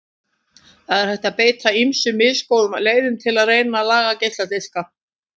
Það er hægt að beita ýmsum misgóðum leiðum til að reyna að laga geisladiska.